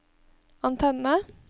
antenne